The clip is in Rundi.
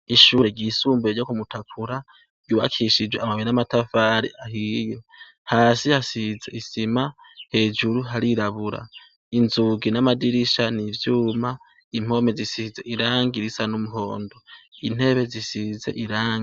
Ishure ryisumbuye ryo kumutakura ,ryubakishijwe amabuye n'amatafari ahiye ,hasi hasize isima hejuru harirabura ,inzugi n'amadirisha n'ivyuma, impome zisize irangi risa n'umuhondo ,intebe zisize irangi.